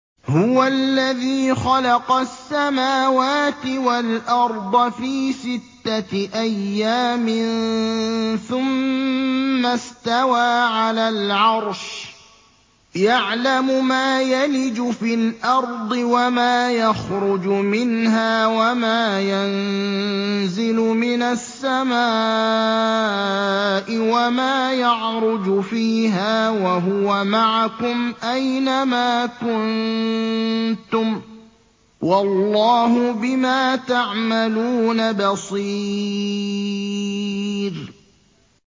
هُوَ الَّذِي خَلَقَ السَّمَاوَاتِ وَالْأَرْضَ فِي سِتَّةِ أَيَّامٍ ثُمَّ اسْتَوَىٰ عَلَى الْعَرْشِ ۚ يَعْلَمُ مَا يَلِجُ فِي الْأَرْضِ وَمَا يَخْرُجُ مِنْهَا وَمَا يَنزِلُ مِنَ السَّمَاءِ وَمَا يَعْرُجُ فِيهَا ۖ وَهُوَ مَعَكُمْ أَيْنَ مَا كُنتُمْ ۚ وَاللَّهُ بِمَا تَعْمَلُونَ بَصِيرٌ